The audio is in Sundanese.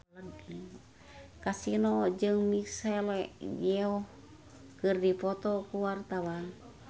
Kasino jeung Michelle Yeoh keur dipoto ku wartawan